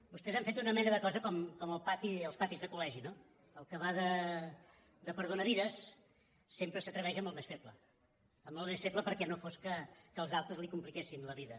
vostès han fet una mena de cosa com als patis de col·legi no el que va de perdonavides sempre s’atreveix amb el més feble amb el més feble perquè no fos que els altres li compliquessin la vida